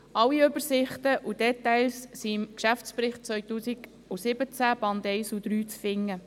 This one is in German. Alle Übersichten und Details sind im Geschäftsbericht 2017, Band 1 und 3, zu finden.